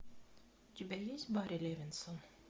у тебя есть барри левинсон